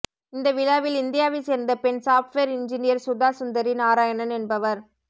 இந்த விழாவில் இந்தியாவை சேர்ந்த பெண் சாப்ட்வேர் இன்ஜீனியர் சுதா சுந்தரி நாராயணன் என்பவர்